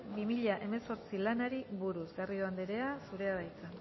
bi mila hemezortzi lanari buruz garrido anderea zurea da hitza